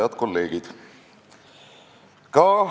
Head kolleegid!